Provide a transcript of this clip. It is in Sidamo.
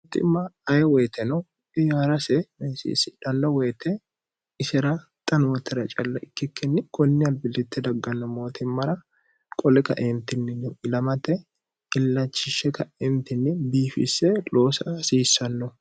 mooimma aye woyite no iyaarase mesiissidhanno woyite isera xanootera cilla ikkikkinni kunni albillitte dagganno mootimmara qole kaeentinnino ilamate illachishshe ka'entinni biifisse loosa hasiissanno